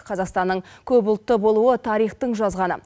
қазақстанның көп ұлтты болуы тарихтың жазғаны